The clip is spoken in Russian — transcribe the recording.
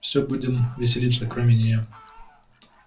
всё будем веселиться кроме неё